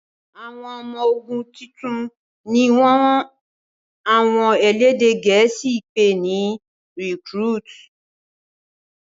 àwọn ọmọ ogun títún ní wón àwọn elédè gèésì pé ní "recruit".